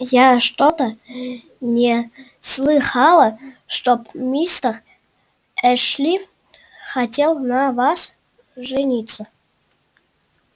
я что-то не слыхала чтоб мистер эшли хотел на вас жениться